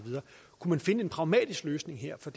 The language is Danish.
finde en pragmatisk løsning her for